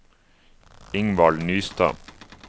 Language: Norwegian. Ingvald Nystad